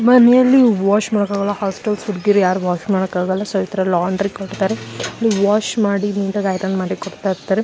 ಮನೆಯಲ್ಲಿ ವಾಷ್ ಮಾಡ್ಕೊಳಲ್ಲ ಹಾಸ್ಟೆಲ್ಸ್ ಹುಡ್ಗೀರು ಯಾರ್ ವಾಷ್ ಮಾಡಕಾಗಲ್ಲ. ಸೊ ಈ ತರ ಲಾಂಡ್ರಿ ಕೊಡ್ತಾರೆ ನೋಡಿ ವಾಷ್ ಮಾಡಿ ನೀಟಾಗಿ ಐರನ್ ಮಾಡ್ ಕೊಡ್ತಾ ಇರ್ತಾರೆ.